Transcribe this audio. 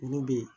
Olu bɛ yen